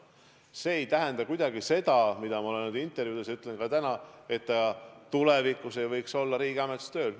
See ei tähenda kuidagi – olen seda öelnud oma intervjuudes ja ütlen ka täna –, et ta tulevikus ei võiks riigiametis tööl olla.